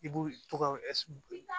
I b'u to ka